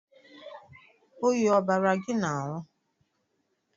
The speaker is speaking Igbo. Oyi ọ bara gị n'ahu?